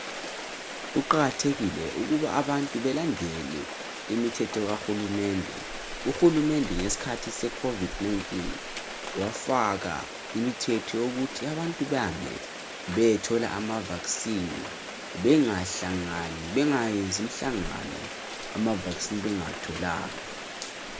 Kuqakathekile ukuba abantu belandele imithetho kahulumende uhulumende ngesikhathi se COVID 19 wafaka imithetho yokuthi abantu behambe beyethola mavaccine bengayenzi imhlangano ama vaccine bengawatholanga